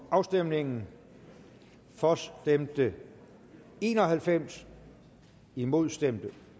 afstemningen for stemte en og halvfems imod stemte